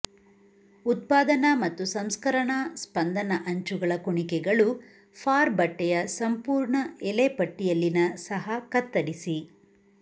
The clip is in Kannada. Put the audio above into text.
ಉತ್ಪಾದನಾ ಮತ್ತು ಸಂಸ್ಕರಣಾ ಸ್ಪಂದನ ಅಂಚುಗಳ ಕುಣಿಕೆಗಳು ಫಾರ್ ಬಟ್ಟೆಯ ಸಂಪೂರ್ಣ ಎಲೆ ಪಟ್ಟಿಯಲ್ಲಿನ ಸಹ ಕತ್ತರಿಸಿ